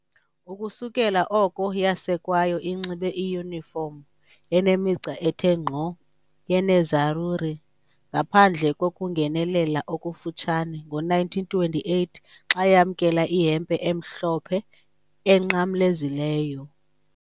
Ukusukela oko yasekwayo, inxibe iyunifomu enemigca ethe nkqo yeNerazzurri, ngaphandle kokungenelela okufutshane ngo-1928 xa yamkela ihempe emhlophe enqamlezileyo.